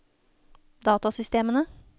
datasystemene